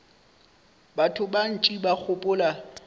batho ba bantši ba gopola